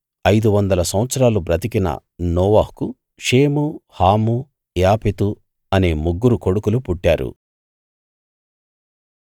ఐదు వందల సంవత్సరాలు బ్రతికిన నోవహుకు షేము హాము యాపెతు అనే ముగ్గురు కొడుకులు పుట్టారు